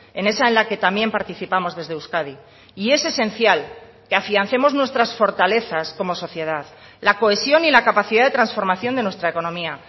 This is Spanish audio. en esa en la que también participamos desde euskadi y es esencial que afiancemos nuestras fortalezas como sociedad la cohesión y la capacidad de transformación de nuestra economía